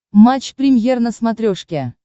матч премьер на смотрешке